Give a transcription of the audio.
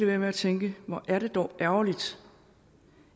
være med at tænke hvor er det dog ærgerligt